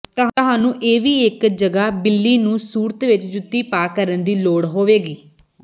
ਤੁਹਾਨੂੰ ਇਹ ਵੀ ਇੱਕ ਜਗ੍ਹਾ ਬਿੱਲੀ ਨੂੰ ਸੂਰਤ ਵਿਚ ਜੁੱਤੀ ਪਾ ਕਰਨ ਦੀ ਲੋੜ ਹੋਵੇਗੀ